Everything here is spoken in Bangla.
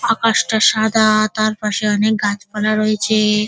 আকাশটা সাদা-আ তার পাশে অনেক গাছপালা রয়েছে-এ।